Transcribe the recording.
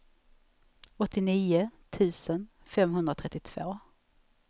åttionio tusen femhundratrettiotvå